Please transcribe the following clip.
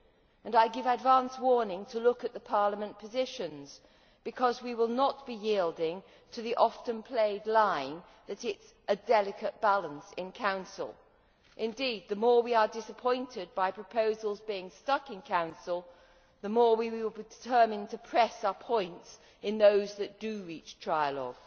And I give advance warning to look at the Parliament positions, because we will not yield to the oft played line that it is a delicate balance in the Council'. Indeed, the more we are disappointed by proposals being stuck in the Council, the more we will be determined to press our points in those that do reach trialogue.